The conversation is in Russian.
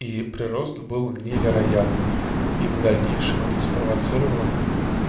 и прирост был невероятный и в дальнейшем это спровоцировало